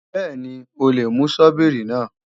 Bẹ́ẹ̀ni, o lè mú Sọ́bíìrì náà